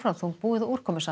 þungbúið og